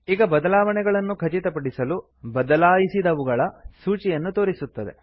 ಈಗ ಬದಲಾವಣೆಗಳನ್ನು ಖಚಿತಪಡಿಸಲು ಬದಲಾಯಿಸಿದವುಗಳ ಸೂಚಿಯನ್ನು ತೋರಿಸುತ್ತದೆ